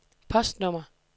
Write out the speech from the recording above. postnummer